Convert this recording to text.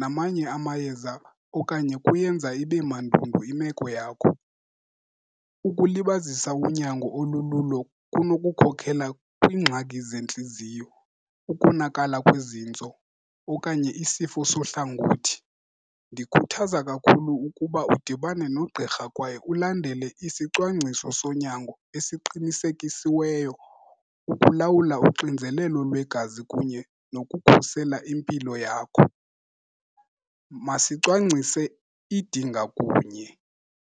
namanye amayeza okanye kuyenza ibe mandundu imeko yakho. Ukulibazisa unyango olululo kunokukhokela kwiingxaki zentliziyo, ukonakala kwezintso okanye isifo sohlangothi. Ndikhuthaza kakhulu ukuba udibane nogqirha kwaye ulandele isicwangciso sonyango esiqinisekisiweyo ukulawula uxinzelelo lwegazi kunye nokukhusela impilo yakho. Masicwangcise idinga kunye.